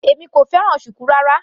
Èmi kò fẹ́ràn shuku rárá.